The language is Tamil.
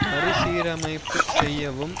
மறு சீரமைப்பு செய்யவும்